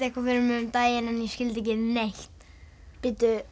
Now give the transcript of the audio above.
eitthvað fyrir mér um daginn en ég skildi ekki neitt bíddu